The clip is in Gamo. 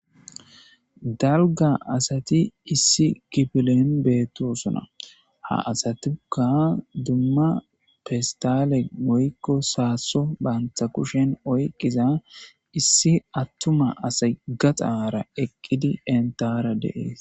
Dalga asat issi kifilen betosona. Ha asayika pesitale woyko sasoban banta kushen oykiza issi atuma asay gaxara eqid entara de'es.